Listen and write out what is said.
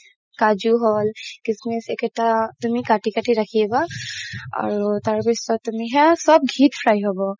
কাজু হ'ল খিচমিচ এইকেইটা তুমি কাতি কাতি ৰাখিবা আৰু তাৰপিছত তুমি সেইয়া চ'ব ঘিত fry হ'ব